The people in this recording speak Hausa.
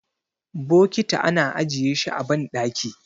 bokiti ana ajiye shi a bandaki